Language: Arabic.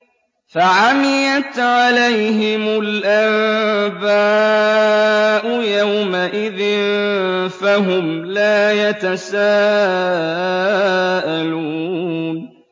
فَعَمِيَتْ عَلَيْهِمُ الْأَنبَاءُ يَوْمَئِذٍ فَهُمْ لَا يَتَسَاءَلُونَ